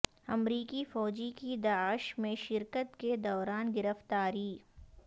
امریکی فوجی کی داعش میں شرکت کے دوران گرفتاری